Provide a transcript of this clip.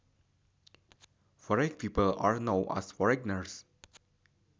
Foreign people are known as foreigners